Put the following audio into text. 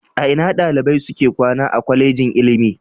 A ina dalibai suke kwana a Kwallejin ilimi?